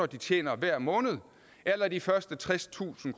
de tjener hver måned eller af de første tredstusind